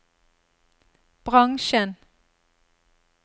bransjen